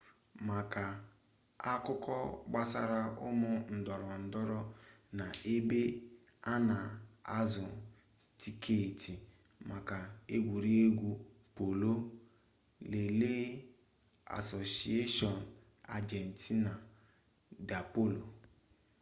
maka akụkọ gbasara ụmụ ndorondoro na ebe a na-azụ tiketi maka egwuregwu polo lelee asociacion argentina de polo